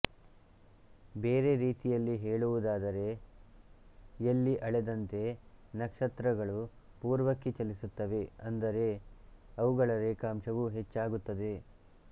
ಬೇರೆ ರೀತಿಯಲ್ಲಿ ಹೇಳುವುದಾದರೆ ಯಲ್ಲಿ ಅಳೆದಂತೆ ನಕ್ಷತ್ರಗಳು ಪೂರ್ವಕ್ಕೆ ಚಲಿಸುತ್ತವೆ ಅಂದರೆ ಅವುಗಳ ರೇಖಾಂಶವು ಹೆಚ್ಚಾಗುತ್ತದೆ